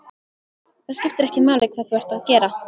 Það skiptir ekki máli hvað þú ert að gera.